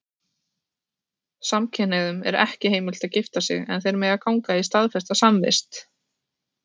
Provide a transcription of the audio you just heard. Samkynhneigðum er ekki heimilt að gifta sig, en þeir mega ganga í staðfesta samvist.